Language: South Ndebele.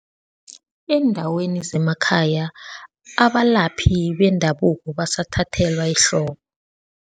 Eendaweni zemakhaya abalaphi bendabuko basathathelwa ehloko.